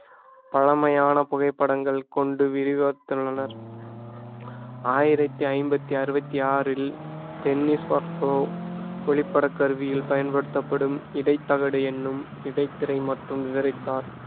பழமையான புகைப்படங்கள் கொண்டு விரிவகுத்துள்ளனர் ஆயிரத்தி ஐம்பத்தி அறுவத்தி ஆறில் டென்னிஸ் வாட்ச்சோ ஒளிப்பட கருவியில் பயன்படுத்தப்படும் இடைத்தகடு என்னும் இடைத் திரை மற்றும் விவரித்தார்